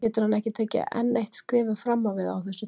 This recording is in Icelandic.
Getur hann tekið enn eitt skrefið fram á við á þessu tímabili?